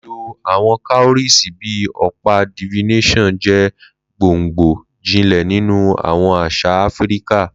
Lilo awọn cowries bi ọpa divination jẹ gbongbo jinlẹ ninu awọn aṣa Afirika.